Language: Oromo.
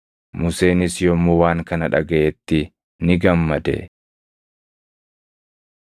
Museenis yommuu waan kana dhagaʼetti ni gammade.